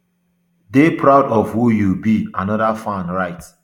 dey proud of who you be anoda fan write